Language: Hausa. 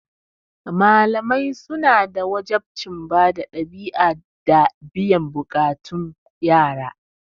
Malamai suna da wajabcin bada ɗabi'a da biyan buƙatar yara.